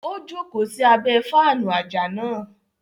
O joko sí abẹ faanu ajá náà